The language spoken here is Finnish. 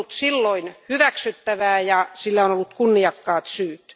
Se on ollut silloin hyväksyttävää ja sillä on ollut kunniakkaat syyt.